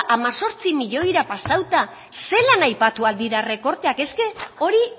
hemezortzi milioira pasauta zelan aipatu al dira errekorteak eske hori